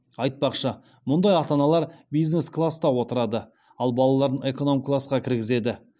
айтпақшы мұндай ата аналар бизнес класста отырады ал балаларын эконом классқа кіргізеді